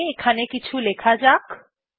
তাহলে এখানে কিছু লেখা যাক